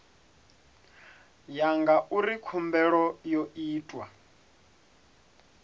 ya ngauri khumbelo yo itwa